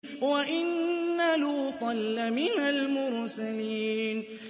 وَإِنَّ لُوطًا لَّمِنَ الْمُرْسَلِينَ